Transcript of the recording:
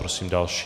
Prosím další.